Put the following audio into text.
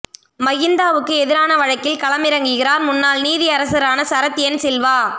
மஹிந்தவுக்கு எதிரான வழக்கில் களமிறங்குகிறார் முன்னாள் நீதியரசரான சரத் என் சில்வா